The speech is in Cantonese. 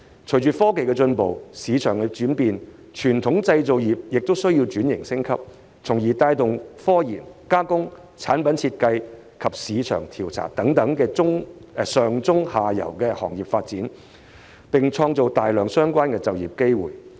隨着科技進步及市場轉變，傳統製造業亦需轉型升級，從而帶動科研、加工、產品設計及市場調查等上、中、下游的行業發展，並創造大量相關的就業機會。